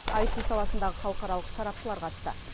аити саласындағы халықаралық сарапшылар қатысты